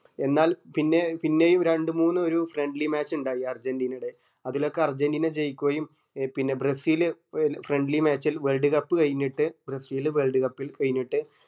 എന്നാൽ പിന്നെ പിന്നെയും രണ്ട് മൂന്ന് ഒരു friendly match ഇണ്ടായി അർജന്റീനെടെ അതിലൊക്കെ അർജന്റീന ജയിക്കുകയും പിന്നെ ബ്രസിൽ friendly match ൽ world cup കഴിഞ്ഞിട്ട് ബ്രസീല് world cup ൽ കഴിഞ്ഞിട്ട്